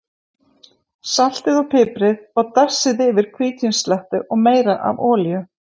Saltið og piprið og dassið yfir hvítvíns slettu og meira af olíu.